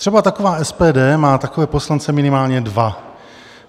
Třeba taková SPD má takové poslance minimálně dva.